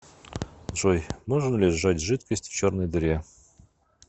джой можно ли сжать жидкость в черной дыре